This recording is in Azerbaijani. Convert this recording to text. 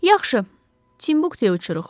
Yaxşı, Timbuktuya uçuruq.